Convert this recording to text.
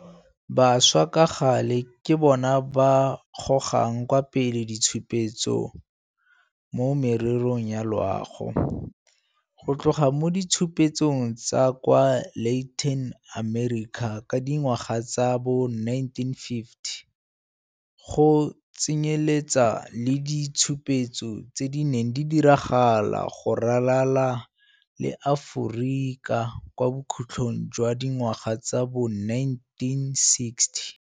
Bašwa ka gale ke bona ba gogang kwa pele ditshupetso mo mererong ya loago, go tloga mo ditshupetsong tsa kwa Latin America ka dingwaga tsa bo 1950, go tsenyeletsa le ditshupetso tse di neng di diragala go ralala le Aforika kwa bokhutlhong jwa dingwaga tsa bo 1960.